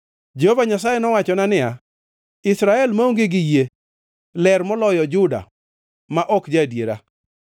Jehova Nyasaye nowachona niya, “Israel maonge gi yie ler moloyo Juda ma ok ja-adiera.